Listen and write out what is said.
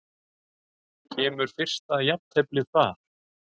Kemur fyrsta jafnteflið þar?